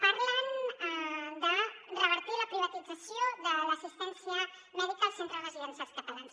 parlen de revertir la privatització de l’assistència mèdica als centres residencials catalans